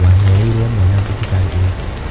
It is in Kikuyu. Wahereirwo mwana thibitarĩ ĩrĩkũ.